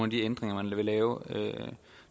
de ændringer man vil lave